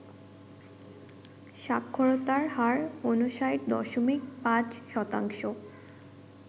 সাক্ষরতার হার ৫৯.৫%